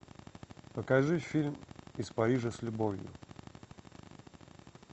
покажи фильм из парижа с любовью